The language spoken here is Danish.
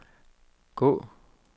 gå